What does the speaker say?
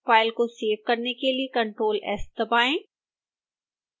file को save करने के लिए ctrl s दबाएं